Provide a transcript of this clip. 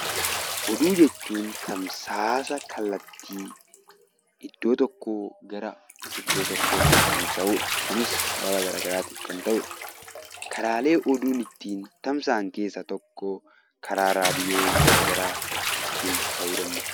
Oduu jechuun tamsaasa kallattii iddoo tokkoo gara iddoo tokkootti tamsa'udha. Kunis sababa garaagaraatiin kan ta'udha. Karaalee oduun ittiin tamsa'an keessaa tokko karaa raadiyoo garaagaraa ta'uu danda'a.